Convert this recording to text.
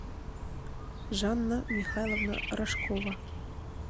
жанна михайловна рожкова